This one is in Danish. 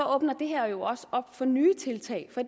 åbner det her jo også op for nye tiltag for